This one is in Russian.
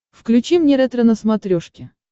включи мне ретро на смотрешке